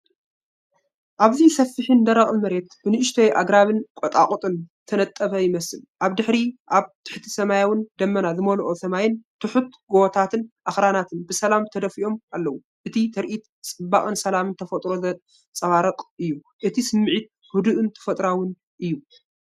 ኣብዚ ሰፊሕን ደረቕን መሬት ብንኣሽቱ ኣግራብን ቁጥቋጥን ዝተነጥበ ይመስል። ኣብ ድሕሪት ኣብ ትሕቲ ሰማያዊን ደበና ዝመልኦን ሰማይ፡ ትሑት ጎቦታትን ኣኽራናትን ብሰላም ተደፊኦም ኣለዉ። እቲ ትርኢት ጽባቐን ሰላምን ተፈጥሮ ዘንጸባርቕ እዩ። እቲ ስሚዒት ህዱእን ተፈጥሮኣውን እዩ።